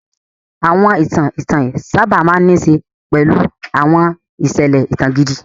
Àwọn ìtàn ìtàn sábà máa ń ní í ṣe pẹ̀lú àwọn ìṣẹ̀lẹ̀ ìtàn gidi.